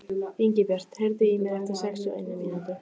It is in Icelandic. Ingibjört, heyrðu í mér eftir sextíu og eina mínútur.